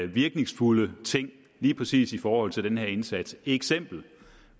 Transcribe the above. virkningsfulde ting lige præcis i forhold til den her indsats eksempler